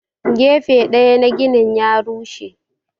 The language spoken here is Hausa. Gefen daya na ginin ya rushe.